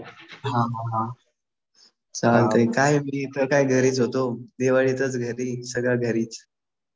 हा हा हा चालतंय. काय मी इथं काय घरीच होतो. दिवाळी इथंच घरी. सगळं घरीच.